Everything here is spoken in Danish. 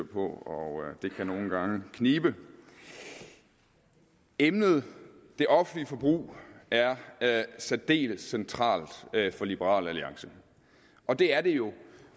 på og det kan nogle gange knibe emnet det offentlige forbrug er særdeles centralt for liberal alliance og det er det jo